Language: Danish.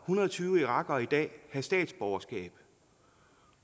hundrede og tyve irakere i dag have statsborgerskab